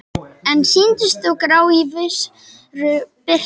En sýndust þó grá í vissri birtu.